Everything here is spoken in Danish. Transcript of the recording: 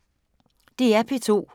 DR P2